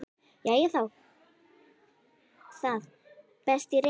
Jæja, þá það, best ég reyni.